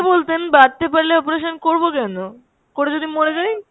বলতেন, বাড়তে পারলে operation করবো কেন? করে যদি মোরে যাই।